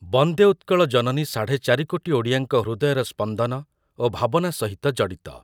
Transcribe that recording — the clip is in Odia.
ବନ୍ଦେ ଉତ୍କଳ ଜନନୀ ସାଢ଼େ ଚାରି କୋଟି ଓଡ଼ିଆଙ୍କ ହୃଦୟର ସ୍ପନ୍ଦନ ଓ ଭାବନା ସହିତ ଜଡ଼ିତ ।